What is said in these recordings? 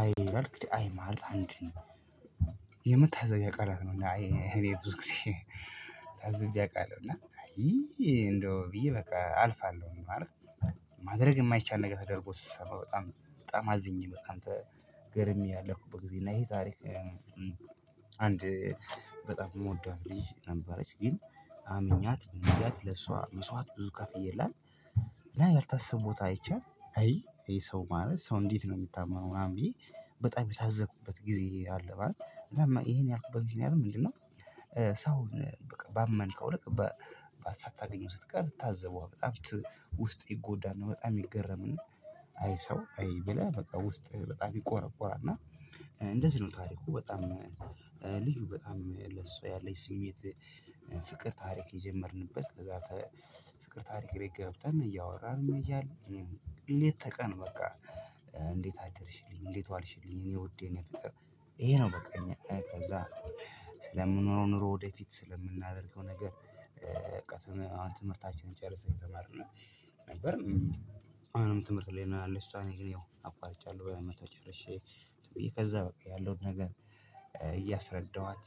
አይ ይላል እንግዲህ አይ ማለት አንድ የምታዘቢያ ቃላት ነው እይ እኔ ብዙ ጊዜ ታዝቢያ አውቃለሁ። እና እይይይ እንደው ብዬ በቃ አልፋለሁ ማለት ነው። ማድረግ የማይቻል ነገር ተደርጎ ስስሰማ በጣም በጣም አዝኜ በጣም ተገርሜ ያለፍኩበት ጊዜ እና ይሄ ታሪክ አንድ በጣም የምወዳት ልጅ ነበረች። ግን አምኛት ምንብያት ለሷ መስዋት ብዙ ከፍዬላት እና ያልታሰበ ቦታ አይቻል አይ ይሄ ሰው ማለት ሰው እንዴት ነው የሚታመነው ምናምን ብዬ በጣም የታዘብኩበት ጊዜ አለ ማለት ነው። ይሄን ያልኩበት ይሄን ያልኩበት ምንድነው? ሰው ባመንከው ልክ ሳታገኘው ስትቀር ትታዘበው በጣም ውስጥ ይጎዳናል በጣም ይገረምና አይ ሰው አይ ብለህ በቃ ውስጥ በጣም ይቆረቆራል እና እንደዚህ ነው ታሪኩ በጣም ልጁ በጣም ለሰው ያለች ስሜት ፍቅር ታሪክ የጀመርንበት ከዛ ፍቅር ታሪክ ገብተን እያወራን እያለን ሌት ተቀን በቃ እንዴት አደርሽልኝ እንዴት ዋልሽልኝ እኔ ወዴ ወዴት ነው ፍቅር ይሄ ነው በቃ ከዛ ስለምኖረው ኑሮ ወደፊት ስለምናደርገው ነገር በቃ አሁን ትምህርታችንን ጨርሰን የተማርነው ነበር። አሁንም ትምህርት ላይ ነው ያለው እሷ ነገር ያው አቋርጫለሁ። በመቶ ጨርሼ ብዬ ከዛ በቃ ያለውን ነገር እያስረዳኋት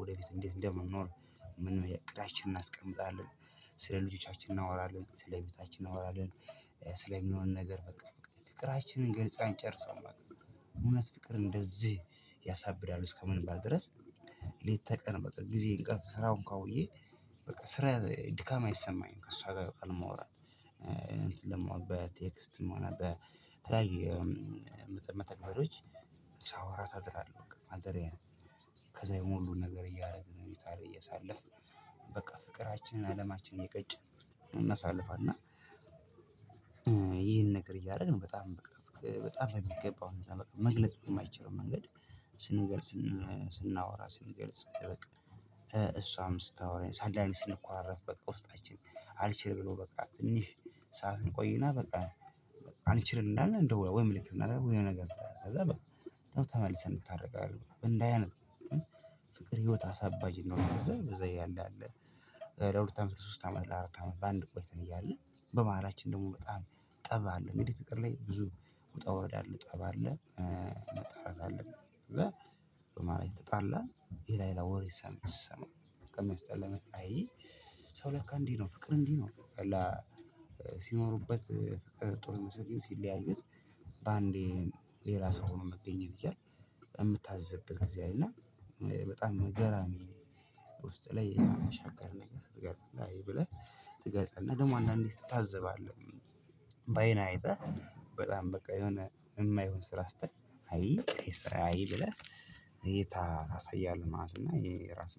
ወደፊት እንዴት እንደምንኖር እቅዳችንን እናስቀምጣለን። ስለ ልጆቻችን እናወራለን። ስለ ቤታችን እናወራለን። ስለሚሆን ነገር በቃ ፍቅራችንን ገንጻን ጨርሰው ማለት ነው። እውነት ፍቅር እንደዚህ ያሳብዳል እስከምንባል ድረስ ሌት ተቀን በቃ ጊዜ እንቅልፍ ስራው እንኳን ውዬ በቃ ስራ ድካም አይሰማኝም። ከእሷ ጋር በቃል መውራት እንትን ለመዋጥ በቴክስት መሆን አለበት። መተግበሪያዎች ሳወራት አድራለሁ በቃ አልጠራም ከዛ የሞሉ ነገር እያደረግን እየታየ እያሳለፍን በቃ ፍቅራችንን አለማችንን እየቀጨን እናሳልፋለን ይሄን ነገር እያደረግን በጣም በጣም ነው የሚገባው አሁን መግለጽ የማይችለው መንገድ ስንገልጽ ስናወራ ስንገልጽ አይበቅም እሷም ስታወራ ሳልዳሊስን ስንኳረፍ በቃ ውስጣችን አልችል ብሎ በቃ ትንሽ ሰዓትን እንቆይና በቃ አንችልም እንዳለን ወይ ምልክት ነው ወይ የሆነ ነገር ትላለህ ከዛ በኋላ ተመልሰን እንድታቃለን እንባዬ ፍቅር ህይወት አሳባጅ ነው በዛ እያለ ለሁለት አመት ሶስት አመት ለአራት አመት በአንድ ቆይተን እያለ በመሃላችን ደግሞ በጣም ጠብ አለን እንግዲ ፍቅር ላይ ብዙ ውጣ ወረዳ አለን ጠብ አለን መታረቅ አለብን ብለን በማሃል ተጣላን ሌላ ሌላ ወሬ ሰም ስሰማ በጣም ሚያስጠላ አይይ ሰው ለካ እንዲህ ነው። ፍቅር እንዲህ ነው። ሲኖሩበት ፍቅር ጥሩ ይሰለኝ ሲለያዩት በአንዴ ሌላ ሰው ሆኖ መገኘት ይችላል። የምታዘብበት ጊዜ አለ በጣም ነገራሚ ውስጥ ላይ ያሻከርን ነገር ብለህ ትገዛለህ ደግሞ አንዳንዴ ትታዘባለህ ባይንህ አይተህ በጣም በቃ የሆነ የማይሆን ስራ ስታይ አይ አይ ስራ አይ ብለህ እይታ ታሳያለህ ማለት ነው እና ይሄ ራስ